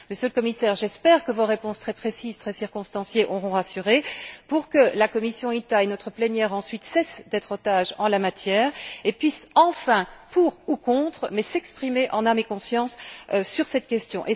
Monsieur le Commissaire, j'espère que vos réponses très précises et circonstanciées auront rassuré, pour que la commission INTA et notre plénière ensuite cessent d'être des otages en la matière et puissent enfin, en étant pour ou contre, s'exprimer en âme et conscience sur cette question.